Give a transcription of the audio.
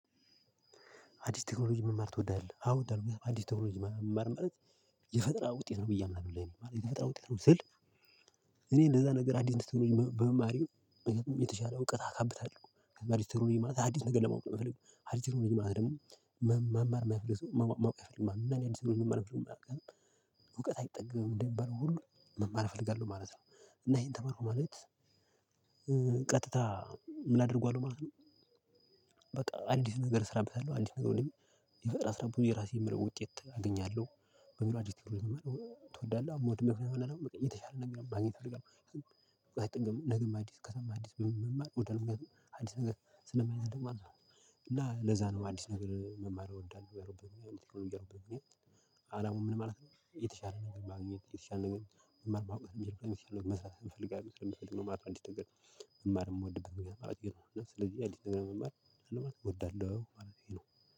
አዲስ ቴክኖሎጂ መማር ትወዳለህ አው ወዳለሁ አዲስ ቴክኖሎጂ መማር ማለት የፈጠራ ውጤት ነው ብዬ አምናለሁ ለኔ ማለት የፈጠራ ውጤት ነው ስል። እኔ እንደዛ ነገር አዲስ ትሩኒ በመማሬ። የተሻለ እውቀት አካብታለሁ አዲስ ቴክኖሎጂ ማለት አዲስ ነገር ለማወቅ ነው። ምፈልገው አዲስ ቴክኖሎጂ ማለት ደግሞ መማር ማይፈልግ ሰው ማወቅ አይፈልግም። ማለት ነው መፍለሱ። እውቀት አይጠግብም እንደሚባለው ሁሉ መማር እፈልጋለሁ ማለት ነው። እና ይሄን ተማርኩ ማለት። ቀጥታ ምን አድርጓል ማለት ነው? በቃ አዲስ ነገር እሰራበታለሁ አዲስ ነገር ወዲህ የፈጠራ ስራ ብዙ የራሴ ምለው ውጤት አገኛለሁ። በሙሉ አዲስ ትወዳለህ አሞድ መክነት መናገር የተሻለ ነገር ማግኘት እፈልጋለሁ አይጠግምም ነገ ማዲስ ከሰማ አዲስ መማር ወደ ነገር አዲስ ነገር ስለማይዘደው ማለት ነው። እና ለዛ ነው አዲስ ነገር መማር እወዳለሁ። የሮበንያ የሮበንያ ምን ማለት ነው? የተሻለ ነገር ማግኘት የተሻለ ነገር መማር መቆየት የሚል መስራት አንፈልግም ማርያም እንዲህ ነገር። መማር የምወድብህ ምክንያት ገና ማለት ነው እና ስለዚህ ያሊጥነነ መማር ለማለት እንወዳለን ማለት ነው።